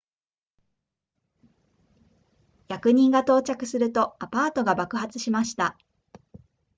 役人が到着するとアパートが爆発しました